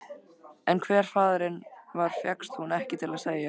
En hver faðirinn var fékkst hún ekki til að segja.